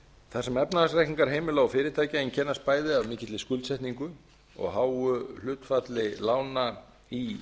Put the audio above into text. þar sem efnahagsreikningar heimila og fyrirtækja einkennast bæði af mikilli skuldsetningu og háu hlutfalli lána í